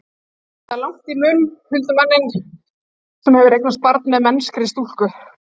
Það er lagt í munn huldumanni sem hefur eignast barn með mennskri stúlku.